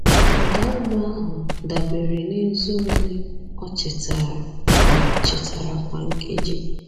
Ụda ube ahụ dabere n’eze ole o chitara kwa chitara kwa nkeji.